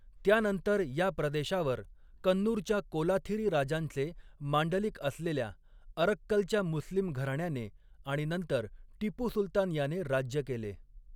त्यानंतर या प्रदेशावर, कन्नूरच्या कोलाथिरी राजांचे मांडलिक असलेल्या अरक्कलच्या मुस्लिम घराण्याने आणि नंतर टिपू सुलतान याने राज्य केले.